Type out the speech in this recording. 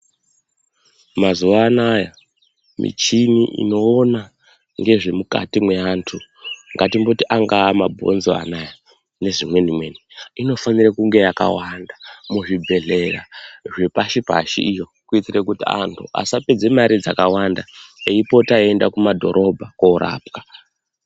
Mazuva anaya michini inoona ngezvemukati mweandu ngatimboti angava mabhonzo ona aya ngezvimweni inofanire kunge yakawanda muzvibhedhlera zvepashi pashi iyo kuitire kuti vantu asapedza mare dzakawanda eipota eienda kumadhorobha korapwa .